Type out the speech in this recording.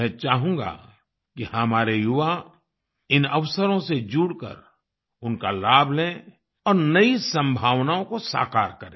मैं चाहूँगा कि हमारे युवा इन अवसरों से जुड़कर उनका लाभ लें और नई संभावनाओं को साकार करें